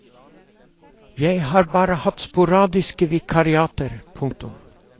Jeg har bare hatt sporadiske vikariater. punktum